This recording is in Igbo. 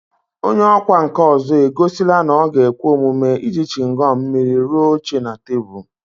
Onye ọkwá nkà ọzọ egosila na ọ ga-ekwe omume iji chịngọm mmiri rụọ oche na tebụl